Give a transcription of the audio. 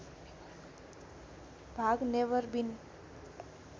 भाग नेभर बिन